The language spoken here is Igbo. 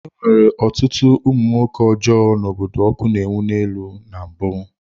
E nwere ọtụtụ ụmụ nwoke ọjọọ n’obodo ọkụ na-enwu n'elu na mbụ.